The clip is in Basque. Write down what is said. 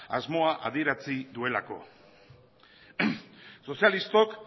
asmoa adierazi duelako sozialistok